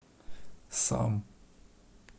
сам